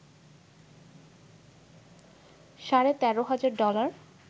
সাড়ে ১৩ হাজার ডলার